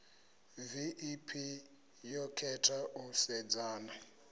vep yo khetha u sedzana